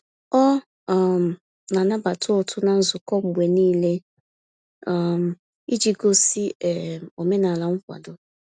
Ọ um na-anabata ụtụ na nzukọ mgbe n'ile, um iji gosi um omenala nkwado